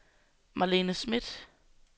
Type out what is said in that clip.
Malene Schmidt